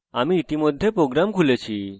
আমি ইতিমধ্যে program খুলে ফেলেছি